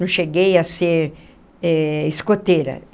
Não cheguei a ser eh escoteira.